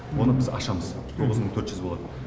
оны біз ашамыз тоғыз мың төрт жүз болады